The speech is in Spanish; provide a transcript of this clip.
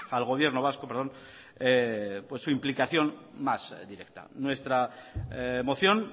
al gobierno vasco su implicación más directa nuestra moción